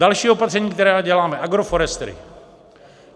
Další opatření, která děláme, agroforestry.